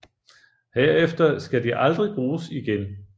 Herefter skal de aldrig bruges igen